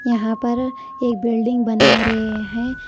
यहां पर एक बिल्डिंग बना रहे हैं।